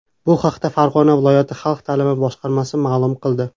Bu haqda Farg‘ona viloyati xalq ta’limi boshqarmasi ma’lum qildi .